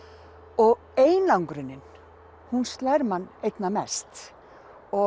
og einangrunin hún slær mann einna mest og